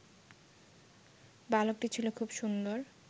বালকটি ছিল খুব সুন্দর